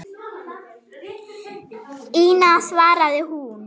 Ína, svaraði hún.